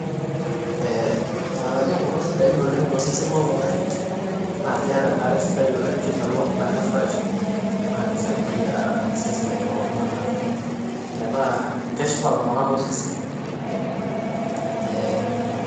Ilng'anayio kulo sidain oleng tosesen loltng'ani, naa keata enkare sidai oleng, kemelok naa kefresh, naa keisaidia iseseni loltung'ana metaa keshipa iltung'ana too seseni.